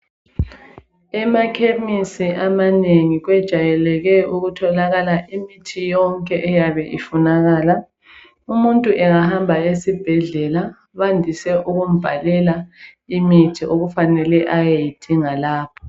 Emakhemisi amanengi kwejayeleke ukutholakala imithi yonke eyabe ifunakala umuntu engahamba esibhedlela bandise ukumbhalela imithi okufanele ayeyidinga lapho.